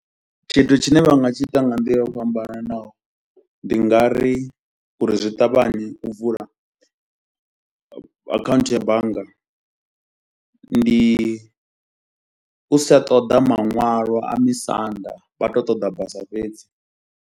Tshithu tshine vha nga tshi ita nga nḓila yo fhambananaho ndi nga ri uri zwi ṱavhanye u vula akhaunthu ya bannga ndi u sa ṱoḓa maṅwalo a misanda, vha tou ṱoḓa basa fhedzi.